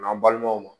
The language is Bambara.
N'an balimaw ma